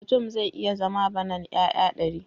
Mutum zai iya zama banan 'ya'ya dari